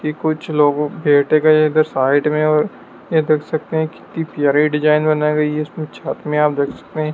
कि कुछ लोगों गए हैं इधर साइड में और यह देख सकते हैं कितनी प्यारी डिज़ाइन बनाई गई है इसमें छत में आप देख सकते हैं।